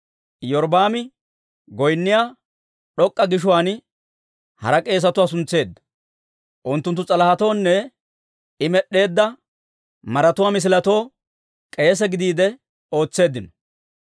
Iyorbbaami goynniyaa d'ok'k'a gishuwaan hara k'eesetuwaa suntseedda; unttunttu s'alahetoonne I med'd'eedda maratuwaa misiletoo k'eese gidiide ootseeddino.